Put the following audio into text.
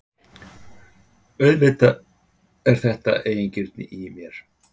Auðvitað er þetta eigingirni í mér.